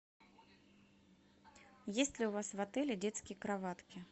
есть ли у вас в отеле детские кроватки